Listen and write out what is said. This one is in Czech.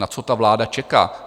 Na co ta vláda čeká?